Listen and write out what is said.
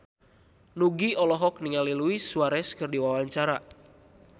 Nugie olohok ningali Luis Suarez keur diwawancara